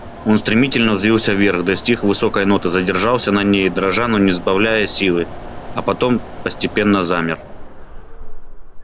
он стремительно взвился вверх достиг высокой ноты задержался на ней дрожа но не сбавляя силы а потом постепенно замер